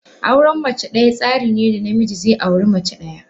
Auren mace daya tsarin ne da namiji zai auri mace daya.